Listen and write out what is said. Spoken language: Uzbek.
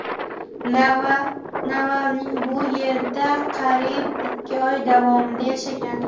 Navalniy bu yerda qariyb ikki oy davomida yashagan.